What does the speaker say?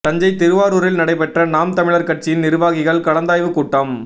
தஞ்சை திருவாரூரில் நடைபெற்ற நாம் தமிழர் கட்சியின் நிர்வாகிகள் கலந்தாய்வுக் கூட்டம்